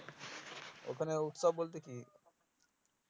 ওখানে উৎসব বলতে কি